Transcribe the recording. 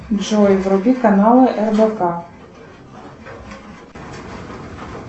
джой вруби каналы рбк